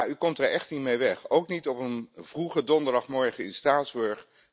Ja, u komt er echt niet mee weg, ook niet op een vroege donderdagmorgen in Straatsburg.